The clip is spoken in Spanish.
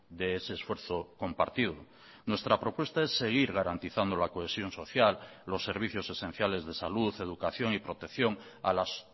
de ese esfuerzo compartido nuestra propuesta es seguir garantizando la cohesión social los servicios esenciales de salud educación y protección a las